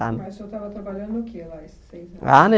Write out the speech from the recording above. Mas o senhor estava trabalhando o que lá esses três anos? Ah